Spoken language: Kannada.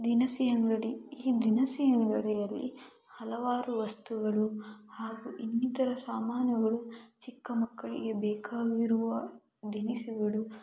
ದಿನಸಿ ಅಂಗಡಿ ಈ ದಿನಸಿ ಅಂಗಡಿಯಲ್ಲಿ ಹಲವಾರು ವಸ್ತುಗಳು ಹಾಗೂ ಇನ್ನಿತರ ಸಾಮಾನುಗಳು ಚಿಕ್ಕ ಮಕ್ಕಳಿಗೆ ಬೇಕಾಗಿರುವ ದಿನಸಿಗಳು--